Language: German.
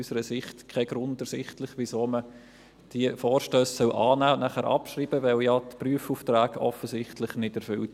Unseres Erachtens ist kein Grund ersichtlich, weshalb man diese Vorstösse annehmen und dann abschreiben sollte, denn die Prüfaufträge sind ja offensichtlich nicht erfüllt.